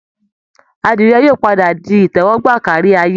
Àdìrẹ yóò padà di ìtẹ́wọ́gbà kárí ayé